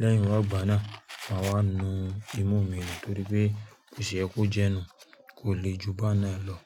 Lẹ́yìn wa igba náà, màá wá nu imú mi nù torí pé bò ṣé kó jẹ nu, kò lè jù bá n náà lọ.